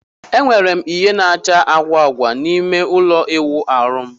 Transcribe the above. Enwere m ìhè na-acha agwa agwa n'ime ụlọ ịwụ ahu m.